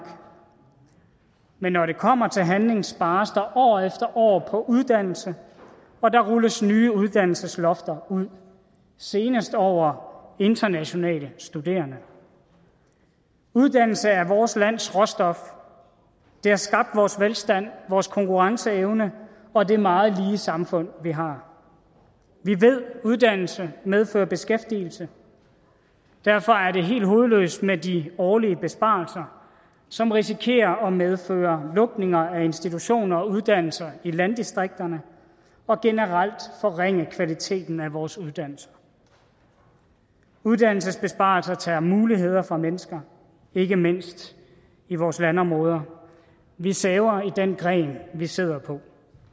men når det kommer til handling spares der år efter år på uddannelse og der rulles nye uddannelseslofter ud senest over internationale studerende uddannelse er vores lands råstof det har skabt vores velstand vores konkurrenceevne og det meget lige samfund vi har vi ved at uddannelse medfører beskæftigelse derfor er det helt hovedløst med de årlige besparelser som risikerer at medføre lukninger af institutioner og uddannelser i landdistrikterne og generelt forringe kvaliteten af vores uddannelser uddannelsesbesparelser tager muligheder fra mennesker ikke mindst i vores landområder vi saver i den gren vi sidder på